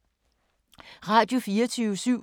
Radio24syv